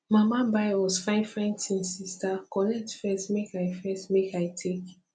mama buy us fine fine thingssister collect first make i first make i take